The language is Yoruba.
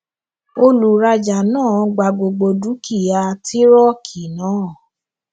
olùrajà náà gba gbogbo dúkìá tírọkì náà